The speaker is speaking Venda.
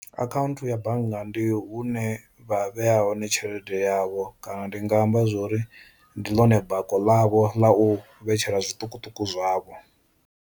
Akhaunthu ya bannga ndi hune vha vheya hone tshelede yavho kana ndi nga amba zwori ndi ḽone bako ḽavho ḽa u vhetshela zwiṱukuṱuku zwavho.